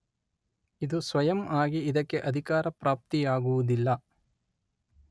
ಇದು ಸ್ವಯಂ ಆಗಿ ಇದಕ್ಕೆ ಅಧಿಕಾರ ಪ್ರಾಪ್ತಿಯಾಗುವುದಿಲ್ಲ.